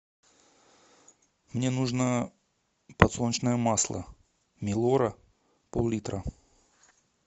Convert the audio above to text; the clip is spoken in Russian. мне нужно подсолнечное масло милора пол литра